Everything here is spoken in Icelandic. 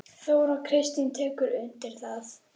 Þóra Kristín tekur undir það.